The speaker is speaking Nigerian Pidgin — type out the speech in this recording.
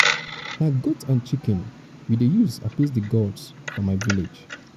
na goat and chicken we dey use appease di gods for my village.